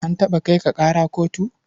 An taɓa kai ka ƙara kotu?